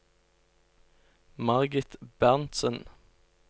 Margit Berntzen